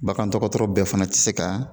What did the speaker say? Bagan dɔgɔtɔrɔ bɛɛ fana ti se ka